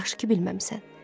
Yaxşı ki bilməmisən.